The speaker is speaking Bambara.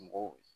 Mɔgɔw